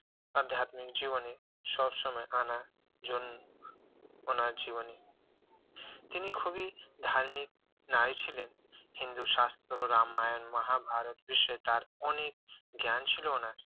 আধ্যাত্বিক জীবনে সব সময় আনার জন্য উনার জীবনী তিনি খুবই ধার্মিক নারী ছিলেন হিন্দু শাস্ত্র রামায়ণ মহাভারত বিষয়ে তার অনেক জ্ঞান ছিল উনার